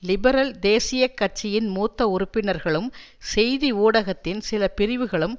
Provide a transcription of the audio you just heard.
லிபரல்தேசியக் கட்சியின் மூத்த உறுப்பினர்களும் செய்தி ஊடகத்தின் சில பிரிவுகளும்